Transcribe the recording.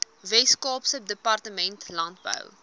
weskaapse departement landbou